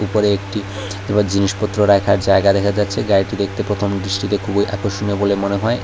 উপরে একটি জিনিসপত্র রাখার জায়গা দেখা যাচ্ছে গাড়িটি দেখতে প্রথম দৃষ্টিতে খুবই আকর্ষণীয় বলে মনে হয়। এই--